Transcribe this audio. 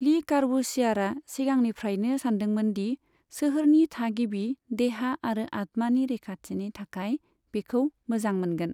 लि कार्बूसियारआ सिगांनिफ्रायनो सान्दोंमोन दि सोहोरनि थागिबि 'देहा आरो आत्मानि रैखाथि'नि थाखाय बेखौ मोजां मोनगोन।